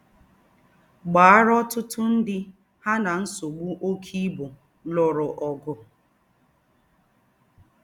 Gbàárá ọ̀tútú ndí́ há nà ńsògbú óké íbú lùrù ọ̀gụ̀